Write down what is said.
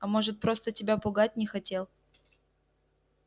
а может просто тебя пугать не хотел